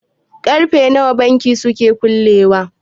karfe nawa bankin suke kullewa?